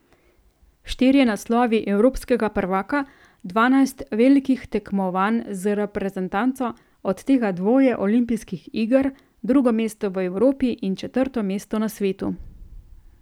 Štirje naslovi evropskega prvaka, dvanajst velikih tekmovanj z reprezentanco, od tega dvoje olimpijskih iger, drugo mesto v Evropi in četrto mesto na svetu ...